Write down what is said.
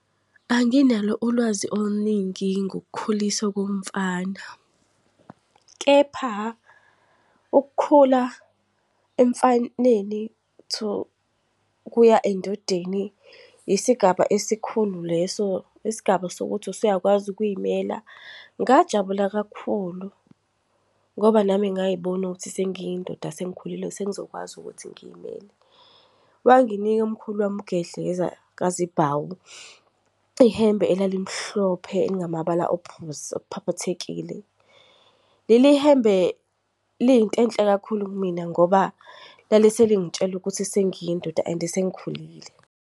Anginalo ulwazi oluningi ngokukhuliswa komfana. Kepha, ukukhula emfaneni to ukuya endodeni yisigaba esikhulu leso, yisigaba sokuthi usuyakwazi ukuy'mela. Ngajabula kakhulu ngoba nami ngay'bona ukuthi sengiyindoda sengikhulile sengizokwazi ukuthi ngiyimele. Wanginika umkhulu wami uGedleza kaziBhawu ihembe elalimhlophe elingamabala ophuzi okuphaphathekile. Leli hembe liyintenhle kakhulu kimina ngoba laleselingitshela ukuthi sengiyindoda and sengikhulile.